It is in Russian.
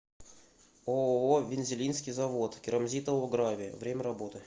ооо винзилинский завод керамзитового гравия время работы